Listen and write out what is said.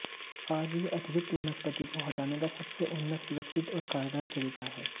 आज यह अतिरिक्त वनस्पति को हटाने का सबसे उन्नत सुरक्षित और कारगर तरीका है